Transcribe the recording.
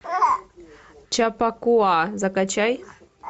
чаппакуа закачай